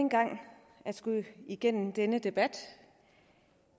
en gang at skulle igennem denne debat